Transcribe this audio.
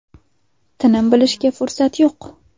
Tinim bilishga fursat yo‘q.